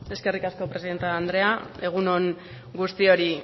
eskerrik asko presidente andrea egun on guztioi